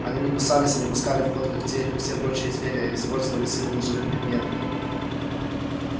они не кусались и не пускали в ход когтей как все прочие звери а использовали силы неживых предметов